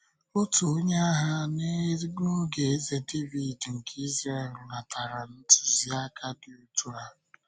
Òtù onye agha n’oge Eze Dàvíd nke Ìzrel nátara ntùziaka dị otu a.